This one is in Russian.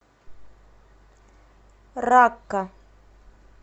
ракка